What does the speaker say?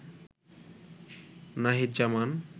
Nahid Zaman